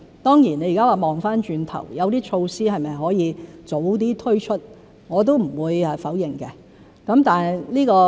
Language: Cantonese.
當然，現在回看，有些措施是否可以早點推出，我也不會否認。